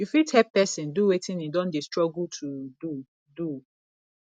you fit help person do wetin im don dey struggle to do do